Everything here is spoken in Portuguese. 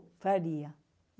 Faria.